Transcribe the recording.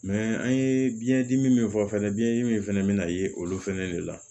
an ye biyɛndimi min fɔ fɛnɛ biɲɛdimi fana bɛna ye olu fɛnɛ de la